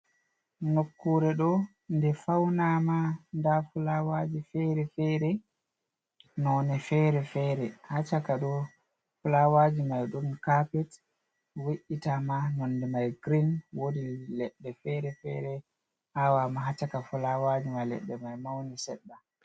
Nokkuure ɗo nde fawnaama, ndaa fulawaaji fere-fere, noone fere-fere haa caka ɗo. Fulawaaji may, ɗon kaapet we’itaama nonde may girin, woodi leɗɗe fere-fere aawaama haa caka fulawaaji may, leɗɗe may mawni seɗɗa.